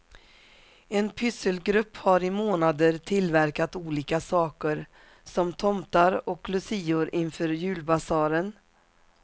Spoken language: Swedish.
En pysselgrupp har i månader tillverkat olika saker som tomtar och lucior inför julbasaren.